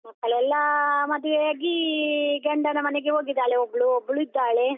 ಮಕ್ಕಳೆಲ್ಲ ಮದುವೆ ಆಗಿ ಗಂಡನ ಮನೆಗೆ ಹೋಗಿದಾಳೆ ಒಬ್ಲು, ಒಬ್ಲು ಇದ್ದಾಳೆ.